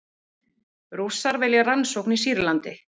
Rússar vilja rannsókn í Sýrlandi